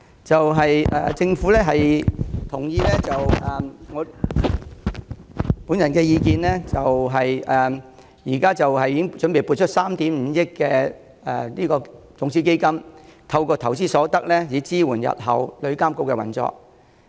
政府接納我提出的意見，擬撥出3億 5,000 萬元種子基金，透過投資所得，支援日後旅遊業監管局的運作。